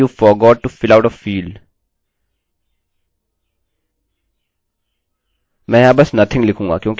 मैं यहाँ बस nothing लिखूंगा क्योंकि इस समय इसका मतलब कुछ नहीं है